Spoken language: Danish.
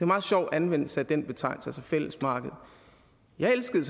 meget sjov anvendelse af den betegnelse altså fællesmarkedet jeg elskede